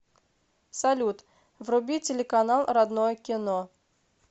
салют вруби телеканал родное кино